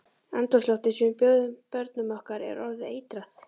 Andrúmsloftið sem við bjóðum börnum okkar er orðið eitrað.